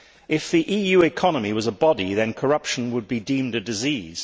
If the EU economy was a body, then corruption would be deemed a disease.